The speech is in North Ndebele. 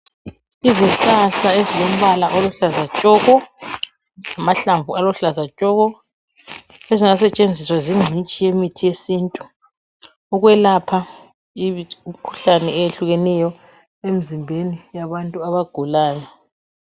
Izihlahla ezilombala oluhlaza tshoko, lamahlamvu aluhlaza tshoko, ezingasetshenziswa zingcitshi yemithi yesintu ukwelapha imkhuhlane eyehlukeneyo emzimbeni yabantu abagulayo.